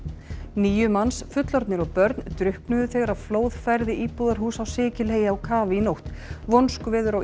níu manns fullorðnir og börn drukknuðu þegar flóð færði íbúðarhús á Sikiley á kaf í nótt vonskuveður á